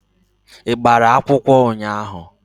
Ị gbara akwụkwọ ụnyaahụ?